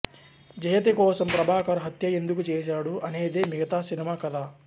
జయతి కోసం ప్రభాకర్ హత్య ఎందుకు చేశాడు అనేదే మిగతా సినిమా కథ